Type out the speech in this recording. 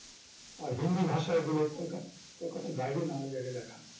আর হিন্দি ভাষায় বলে কলকাত~ কলকাতার বাহিরে নানা জায়গায় দেখান